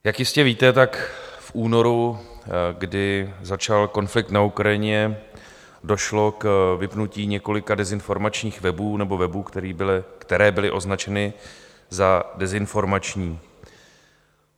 Jak jistě víte, tak v únoru, kdy začal konflikt na Ukrajině, došlo k vypnutí několika dezinformačních webů, nebo webů, které byly označeny za dezinformační.